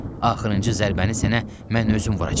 Axırıncı zərbəni sənə mən özüm vuracam.